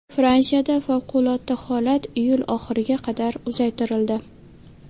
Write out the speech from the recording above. Fransiyada favqulodda holat iyul oxiriga qadar uzaytirildi.